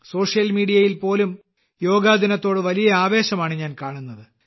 social മീഡിയയിൽ പോലും യോഗാദിനത്തോട് വലിയ ആവേശമാണ് ഞാൻ കാണുന്നത്